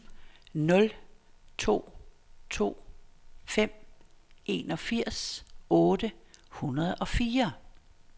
nul to to fem enogfirs otte hundrede og fire